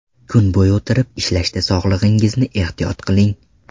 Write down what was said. Kun bo‘yi o‘tirib ishlashda sog‘lig‘ingizni ehtiyot qiling.